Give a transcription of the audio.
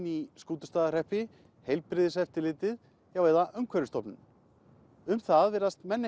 í Skútustaðahreppi Heilbrigðiseftirlitið já eða Umhverfisstofnun um það virðast menn